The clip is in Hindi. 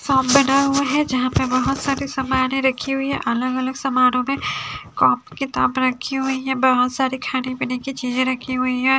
फार्म बना हुआ है यहां पे बहुत सारे सामानें रखी हुई हैं अलग अलग सामानों में कॉपी किताब रखी हुई है बहुत सारी खाने पीने की चीजें रखी हुई हैं।